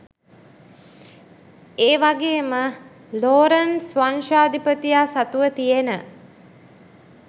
ඒවගේම ලෝරන්ට්ස් වංශාධිපතියා සතුව තියෙන